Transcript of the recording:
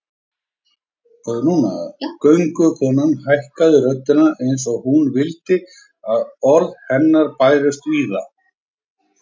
Göngukonan hækkaði röddina eins og hún vildi að orð hennar bærust víða